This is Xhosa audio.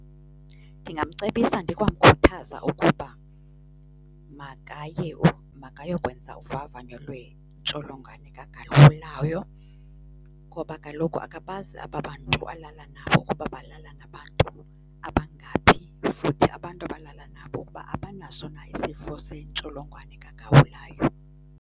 Ndingamcebisa ndikwamkhuthaza ukuba makaye makayokwenza uvavanyo lwentsholongwane kagawulayo ngoba kaloku akabazi aba bantu alala nabo ukuba balala nabantu abangaphi, futhi abantu abalaa nabo ukuba abanaso na isifo sentsholongwane kagawulayo.